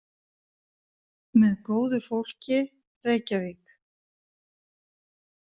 Með góðu fólki, Reykjavík.